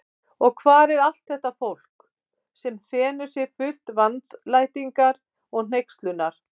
Og hvar er allt þetta fólk, sem þenur sig fullt vandlætingar og hneykslunar?